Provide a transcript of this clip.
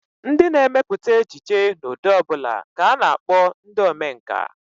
Ndị na-emepụta ejije n'ụdị ọ bụla ka a na-akpọ ndị omenkà